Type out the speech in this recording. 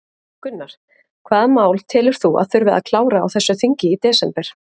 Gunnar: Hvaða mál telur þú að þurfi að klára á þessu þingi í desember?